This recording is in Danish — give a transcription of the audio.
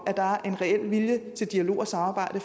at der er en reel vilje til dialog og samarbejde